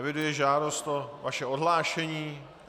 Eviduji žádost o vaše odhlášení.